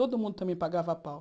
Todo mundo também pagava pau.